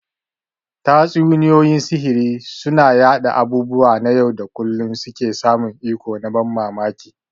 Tatsuniyoyin sihiri suna yanda abubuwa na yau da kullun suke samun iko na ban mamaki.